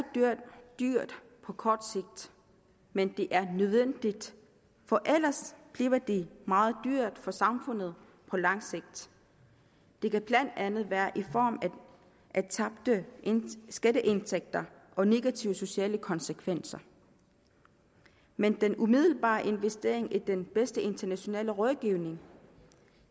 dyrt på kort sigt men det er nødvendigt for ellers bliver det meget dyrt for samfundet på langt sigt det kan blandt andet være i form af tabte skatteindtægter og negative sociale konsekvenser men den umiddelbare investering i den bedste internationale rådgivning